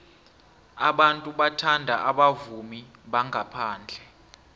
abantu bathanda abavumi bangaphandle